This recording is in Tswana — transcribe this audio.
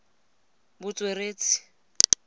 botsweretshi